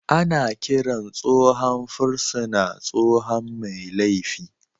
Ana kiran tsohon fursuna tsohon mai laifi